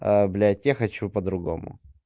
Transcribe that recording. блять я хочу по-другому